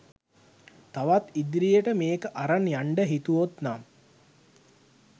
තවත් ඉදිරියට මේක අරං යන්ඩ හිතුවොත්නම්